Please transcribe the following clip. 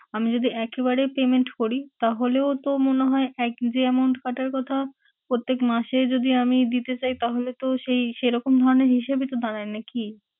আমি যদি একেবারে payment করি তাহলেও তো মনে হয় এক যে amount কাঁটার কথা, প্রত্যেক মাসে যদি আমি দিতে চাই তাহলে তো সেই সেরকম ধরনের হিসেবেই তো দাঁড়ায় নাকি?